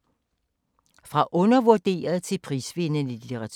Fra undervurderet til prisvindende litteratur